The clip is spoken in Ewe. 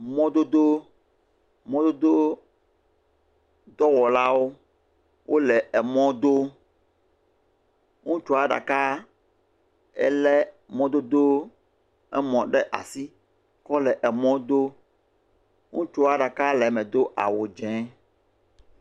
Mɔdodowo, mɔdodo dɔwɔlawo, wole mɔ dom. Ŋutsua ɖeka elé mɔdodowo ƒe emɔ ɖe asi kɔ le emɔ do. Ŋutsua ɖeka le me do awu dzee.